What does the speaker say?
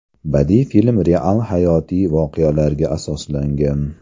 Badiiy film real hayotiy voqealarga asoslangan.